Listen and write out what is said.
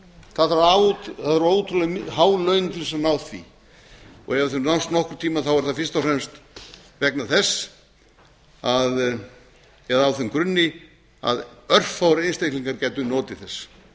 það þarf ótrúlega há laun til þess að ná því ef þau nást nokkurn tímann er það fyrst og fremst vegna þess að eða á þeim grunni að örfáir einstaklingar gætu notið þess